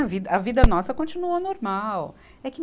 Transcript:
Vida, a vida nossa continua normal. é que